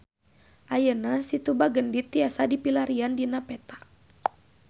Ayeuna Situ Bagendit tiasa dipilarian dina peta